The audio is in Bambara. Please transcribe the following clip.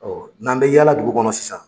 n'an bɛ yaala dugu kɔnɔ sisan